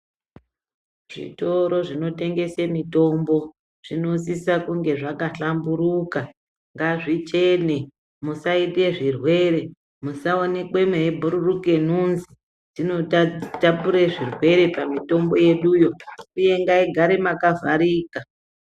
Zvitoro zvinotengese mitombo ,zvinosisa kunge zvakahlamburuka, ngazvichene ,musaite zvirwere, musaonekwe mweibhururuka nhunzi. Dzinota tapurire zvirwere pamitombo yeduyo, uye ngaigare makavharika.